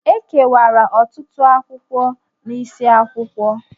E kewara ọtụtụ akwụkwọ n’isiakwụkwọ